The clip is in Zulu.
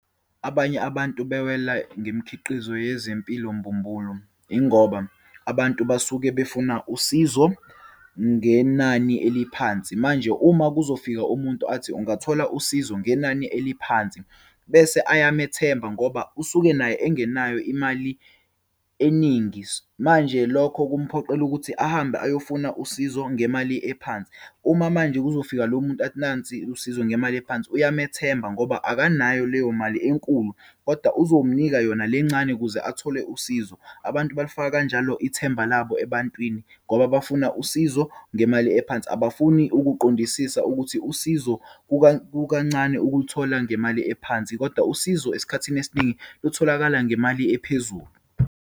Abanye abantu bewela ngemikhiqizo yezempilo mbumbulu, yingoba abantu basuke befuna usizo ngenani eliphansi. Manje uma kuzofika umuntu athi ungathola usizo ngenani eliphansi, bese ayamamethemba ngoba usuke naye engenayo imali eningi. Manje, lokho kuphoqela ukuthi ahambe ayofuna usizo ngemali ephansi. Uma manje kuzofika lo muntu athi nansi usizo ngemali ephansi, uyamethemba ngoba akanayo leyo mali enkulu, kodwa uzomnika yona le ncane ukuze athole usizo. Abantu balifaka kanjalo ithemba labo ebantwini ngoba bafuna usizo ngemali ephansi. Abafuni ukuqondisisa ukuthi usizo kukancane ukuluthola ngemali ephansi, kodwa usizo, esikhathini esiningi lutholakala ngemali ephezulu.